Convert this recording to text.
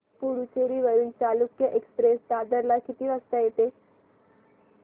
पुडूचेरी वरून चालुक्य एक्सप्रेस दादर ला किती वाजता येते